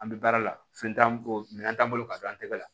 An bɛ baara la fɛn t'an kɔ minɛn t'an bolo ka don an tɛgɛ la